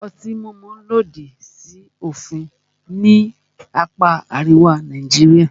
Ọtí mímu lòdì sí òfin ní apá àríwá Nàìjíríà.